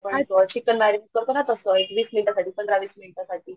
परत तस एक वीस मिनिटासाठी पंधरा वीसमिनिटासाठी